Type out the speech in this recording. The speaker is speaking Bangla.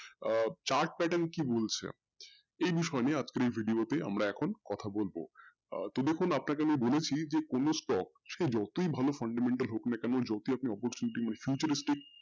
আহ chart pattern কি বলছে এই বিষয় নিয়ে আজকের এই in short তে আমরা এখন কথা বলবো আহ তো দেখুন আপনাকে আমি বলেছি যে কোনো stock সে যতই ভালো fundamental হোকনা কোনো যতই আপন mutualistic